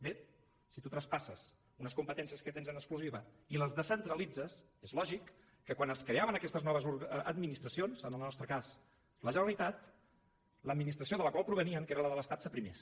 bé si tu traspasses unes competències que tens en exclusiva i les descentralitzes és lògic que quan es creaven aquestes noves administracions en el nostre cas la generalitat l’administració de la qual provenien que era la de l’estat s’aprimés